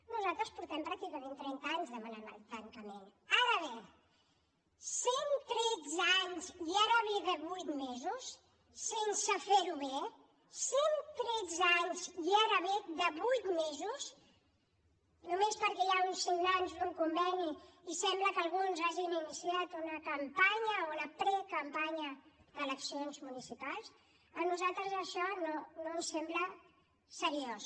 nosaltres fa pràcticament trenta anys que en demanem el tancament ara bé cent tretze anys i ara ve de vuit mesos sense fer ho bé cent tretze anys i ara ve de vuit mesos només perquè hi ha uns signants d’un conveni i sembla que alguns hagin iniciat una campanya o una precampanya d’eleccions municipals a nosaltres això no no ens sembla seriós